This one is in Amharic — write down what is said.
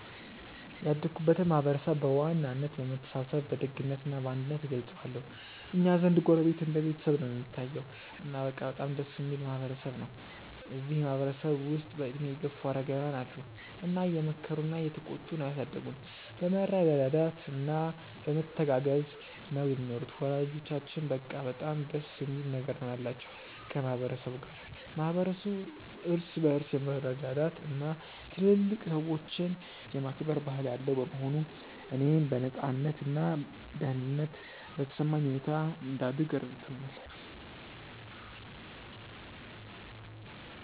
ያደግኩበትን ማህበረሰብ በዋናነት በመተሳሰብ በደግነት እና በአንድነት እገልጸዋለሁ። እኛ ዘንድ ጎረቤት እንደ ቤተሰብ ነው እሚታየዉ። እና በቃ በጣም ደስ እሚል ማህበረ ሰብ ነው። እዚህ ማህበረ ሰብ ውስጥ በእድሜ የገፉ አረጋውያን አሉ እና እየመከሩና እየተቆጡ ነው ያሳደጉን። በመረዳዳት እና በመተጋገዝ ነው ሚኖሩት። ወላጆቻችንም በቃ በጣም ደስ የሚል ነገር ነው ያላቸው ከ ማህበረ ሰቡ ጋር። ማህበረሰቡ እርስ በርስ የመረዳዳት እና ትልልቅ ሰዎችን የማክበር ባህል ያለው በመሆኑ፣ እኔም በነፃነት እና ደህንነት በተሰማኝ ሁኔታ እንድደግ ረድቶኛል።